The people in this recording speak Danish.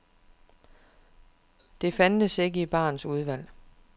Det fandtes ikke i barens udvalg.